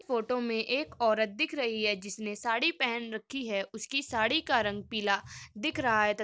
Photo में एक औरत दिख रही है जिस ने साड़ी पहन रखी है। उसकी साड़ी का रंग पीला दिख रहा है त --